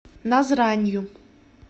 назранью